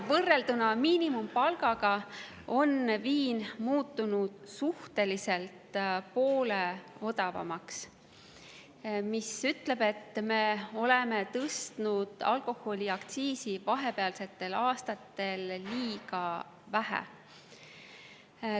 Võrrelduna miinimumpalgaga on viin muutunud poole odavamaks, mis ütleb, et me oleme tõstnud alkoholiaktsiisi vahepealsetel aastatel liiga vähe.